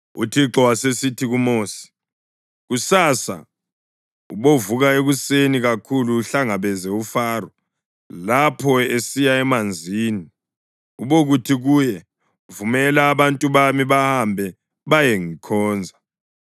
UThixo wasesithi kuMosi, “Kusasa ubovuka ekuseni kakhulu uhlangabeze uFaro lapho esiya emanzini. Ubokuthi kuye, ‘Vumela abantu bami bahambe bayengikhonza.